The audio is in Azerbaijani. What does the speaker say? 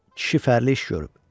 Kişi fərli iş görüb.